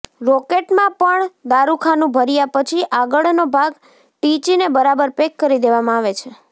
રોકેટમાં પણ દારૃખાનું ભર્યા પછી આગળનો ભાગ ટીચીને બરાબર પેક કરી દેવામાં આવે છે